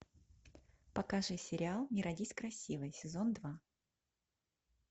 покажи сериал не родись красивой сезон два